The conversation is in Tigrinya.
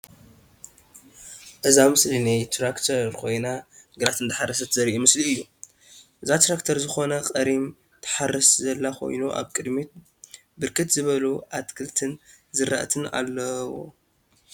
እዛ ምስሊ ናይ ትራክተር ኮይና ግራት እንዳሐረሰት ዘርኢ ምስሊ እዩ፡፡ እዛ ትራክተር ዝኮነ ቀሪም ትሓርስ ዘላ ኮይና አብ ቅድሚታ ብርክት ዝበሉ አትክልትን ዝራእትን አለዉ፡፡